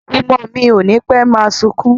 Ọmọ mi ò nipe máa sunkún